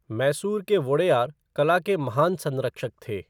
मैसूर के वोडेयार कला के महान संरक्षक थे।